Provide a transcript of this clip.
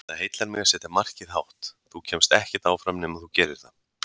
Það heillar mig að setja markið hátt, þú kemst ekkert áfram nema þú gerir það.